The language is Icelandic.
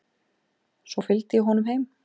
Svo fylgdi ég honum heim.